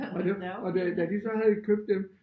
Og da og da da de så havde købt dem